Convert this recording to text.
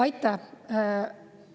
Aitäh!